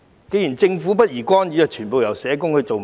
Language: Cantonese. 既然政府不宜干預，那全部由社工負責便可。